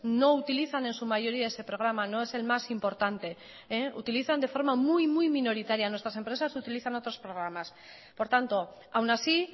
no utilizan en su mayoría ese programa no es el más importante utilizan de forma muy minoritaria nuestras empresas utilizan otros programas por tanto aún así